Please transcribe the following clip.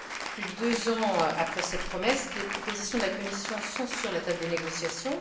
Plus de deux ans après cette promesse, les propositions de la Commission sont sur la table des négociations.